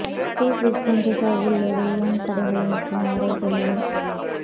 case Western ரிசர்வில் உள்ள வேயன் தடகள மற்றும் ஆரோக்கிய மையம்